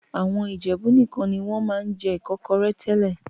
Àwọn Ìjẹ̀bú nìkan ni wọ́n máa ń jẹ Ìkọ́kọrẹ́ tẹ́lẹ̀